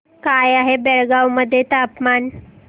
काय आहे बेळगाव मध्ये तापमान